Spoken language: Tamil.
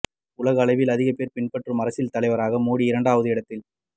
உலகளவில் அதிகம் பேர் பின்பற்றும் அரசியல் தலைவராக மோடி இரண்டாவது இடத்தில்